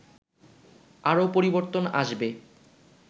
আরও পরিবর্তন আসবে